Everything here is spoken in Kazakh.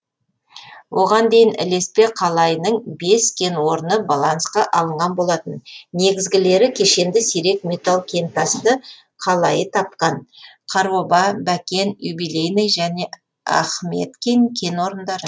оған дейін ілеспе қалайының бес кен орны балансқа алынған болатын негізгілері кешенді сирек металл кентасты қалайы тапқан қараоба бәкен юбилейное және ахметкин кен орындары